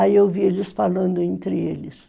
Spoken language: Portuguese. Aí eu ouvi eles falando entre eles.